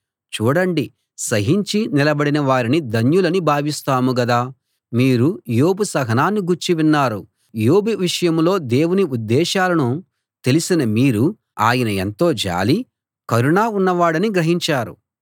చూడండి సహించి నిలబడిన వారిని ధన్యులని భావిస్తాము గదా మీరు యోబు సహనాన్ని గూర్చి విన్నారు యోబు విషయంలో దేవుని ఉద్దేశాలను తెలిసిన మీరు ఆయన ఎంతో జాలి కరుణ ఉన్నవాడని గ్రహించారు